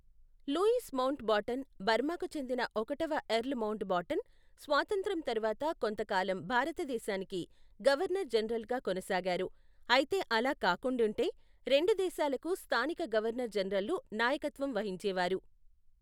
Louis Mountbatten, బర్మాకు చెందిన ఒకటవ ఎర్ల్ మౌంట్ బాటన్, స్వాతంత్ర్యం తర్వాత కొంతకాలం భారతదేశానికి గవర్నర్ జనరల్గా కొనసాగారు, అయితే అలా కాకుండింటే రెండు దేశాలకు స్థానిక గవర్నర్ జనరల్లు నాయకత్వం వహించేవారు.